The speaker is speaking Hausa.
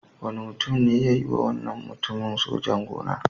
Wani mutum ne ya yiwa wannan mutumin sojan-gona.